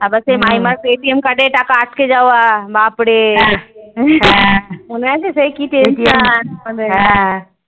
আবার সে মাইমার card এ টাকা আটকে যাওয়া ব্যাপারে মনে আছে সেই কি tension